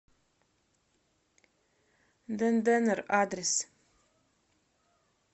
денденер адрес